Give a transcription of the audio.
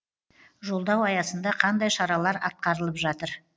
жолдау аясында қандай шаралар атқарылып жатыр